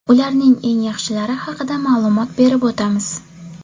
Ularning eng yaxshilari haqida ma’lumot berib o‘tamiz .